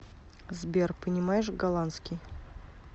сбер понимаешь голландский